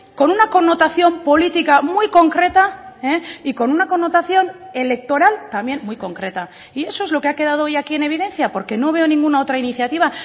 con una connotación política muy concreta y con una connotación electoral también muy concreta y eso es lo que ha quedado hoy aquí en evidencia porque no veo ninguna otra iniciativa